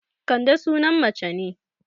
Kande sunan mace ne